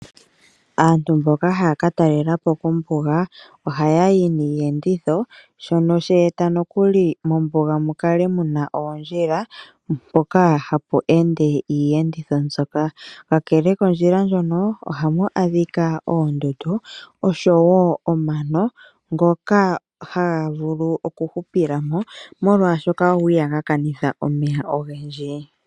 Aantu mboka haya ka talelapo kombuga ohayayi niiyenditho shono she eta nokuli mombuga mukale muna oondjila mpoka hapu ende iiyenditho mbyoka . Kakele kondjila ndjono ohamu adhika oondundu oshowo omano ngoka haga vulu okuhupila molwaashoka go ihaga kanitha omeya ogendji.